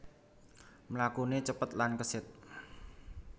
Mlakuné cepet lan kesit